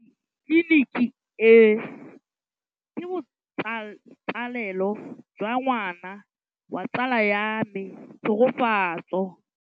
Tleliniki e, ke botsalêlô jwa ngwana wa tsala ya me Tshegofatso.